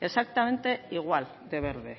exactamente igual de verde